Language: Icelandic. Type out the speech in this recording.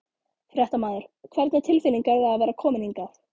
Fréttamaður: Hvernig tilfinning er það að vera komin hingað?